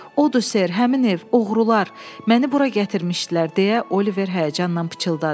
Odu Ser, həmin ev, oğrular məni bura gətirmişdilər deyə Oliver həyəcanla pıçıldadı.